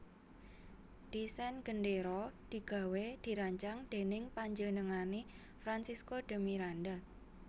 Desain gendéra digawé dirancang dèning panjenengané Francisco de Miranda